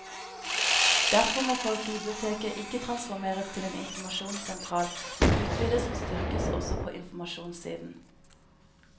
Derfor må folkebiblioteket ikke transformeres til en informasjonssentral, men utvides og styrkes også på informasjonssiden.